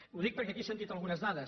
ho dic perquè aquí s’han dit algunes dades